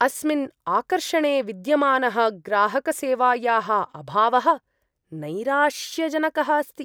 अस्मिन् आकर्षणे विद्यमानः ग्राहकसेवायाः अभावः नैराश्यजनकः अस्ति।